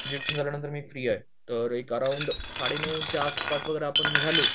तर जिम झाल्या नंतर मी फ्री आहे तर एक अराऊंड साडेनऊ च्या आसपास जर आपण निघालो